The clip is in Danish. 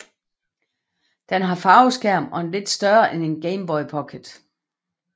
Den har farveskærm og er lidt større end Game Boy Pocket